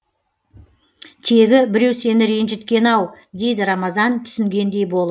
тегі біреу сені ренжіткен ау дейді рамазан түсінгендей болып